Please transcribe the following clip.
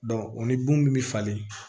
o ni bon min bɛ falen